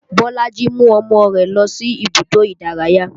Bolaji mú ọmọ rẹ̀ lọ sí ibùdó ìdárayá